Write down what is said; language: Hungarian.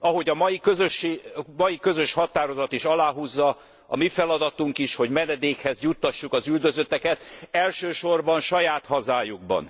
Ahogy a mai közös határozat is aláhúzza, a mi feladatunk is, hogy menedékhez juttassuk az üldözötteket, elsősorban saját hazájukban.